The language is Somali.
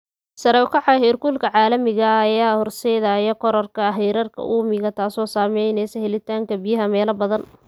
Sare u kaca heerkulka caalamiga ah ayaa horseedaya kororka heerarka uumiga, taasoo saameynaysa helitaanka biyaha meelo badan.